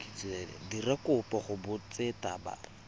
dira kopo go botseta ba